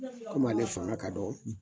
ale fanga ka dɔn